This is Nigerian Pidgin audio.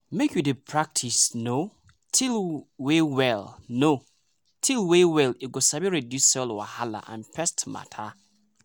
make you dey practice no-till way well no-till way well e go sabi reduce soil wahala and pest matter.